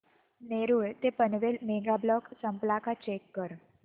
नेरूळ ते Panvel mega block संपला का चेक कर